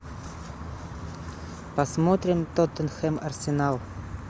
посмотрим тоттенхэм арсенал